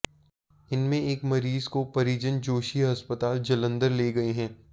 इनमें एक मरीज को परिजन जोशी अस्पताल जालंधर ले गए हैं